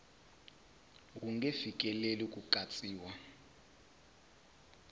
wu nge fikeleli ku katsiwa